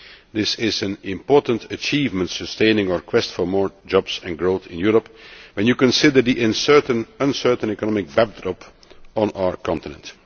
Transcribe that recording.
This is an important achievement, sustaining our quest for more jobs and growth in Europe when you consider the uncertain economic backdrop on our continent.